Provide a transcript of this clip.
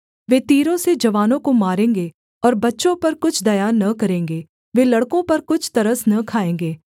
वे तीरों से जवानों को मारेंगे और बच्चों पर कुछ दया न करेंगे वे लड़कों पर कुछ तरस न खाएँगे